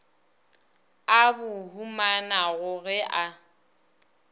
a bo humanago ge a